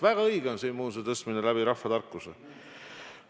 Väga õige on see immuunsuse tõstmine rahvatarkuse abil.